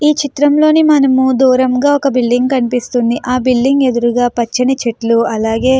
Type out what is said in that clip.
ఈ చిత్రం లో మనము దూరంగా ఒక పెద్ద బిల్డింగ్ కనిపిస్తుంది ఆ బిల్డింగ్ ఎదురుగా పచ్చని చెట్లు అలాగే --